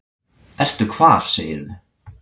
Ertu hvar segirðu?